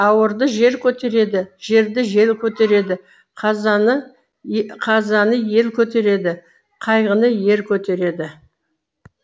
ауырды жер көтереді жерді жел көтереді қазаны қазаны ел көтереді қайғыны ер көтереді